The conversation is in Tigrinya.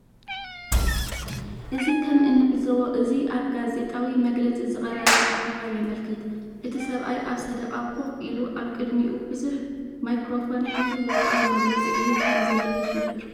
እዚ ከም እንዕዞቦ እዚ ኣብ ጋዜጣዊ መግለጺ ዝቐረበ ኣኼባ የመልክት። እቲ ሰብኣይ ኣብ ሰደቓ ኾፍ ኢሉ ኣብ ቅድሚኡ ብዙሕ ማይክሮፎን ሒዙ ወግዓዊ መግለፂ ይህብ ከም ዘሎ ይሕብር።